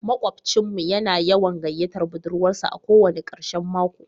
Makwabcin mu yana yawan gayyatar budurwarsa a ko wani karshen mako